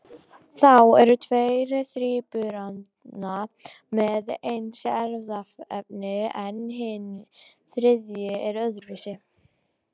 Þá eru tveir þríburana með eins erfðaefni en hinn þriðji er öðruvísi.